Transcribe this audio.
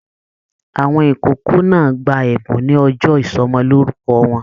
Àwọn ìkókó náà gbà ẹbùn ní ọjọ ìsọmọlorúkọ wọn.